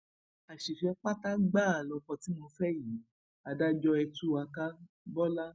àṣìfẹ pátá gbáà lóko tí mo fẹ yìí adájọ ẹ tú wa ká bọlá